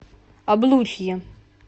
облучье